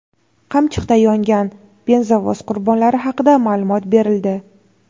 "Qamchiq"da yongan benzovoz qurbonlari haqida ma’lumot berildi.